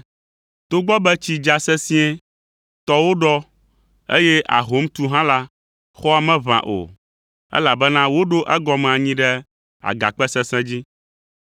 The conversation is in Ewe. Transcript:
Togbɔ be tsi dza sesĩe, tɔwo ɖɔ, eye ahom tu hã la, xɔa meʋã o, elabena woɖo egɔme anyi ɖe agakpe sesẽ dzi.